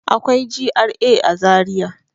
Akwai GRA a Zariya.